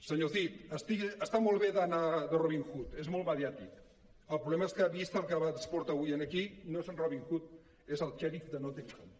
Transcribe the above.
senyor cid està molt bé d’anar de robin hood és molt mediàtic el problema és que vist el que ens porta avui aquí no són robin hood és el xèrif de nottingham